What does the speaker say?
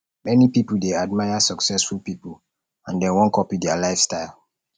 many pipo dey admire successful pipo and dem wan copy dia lifestyle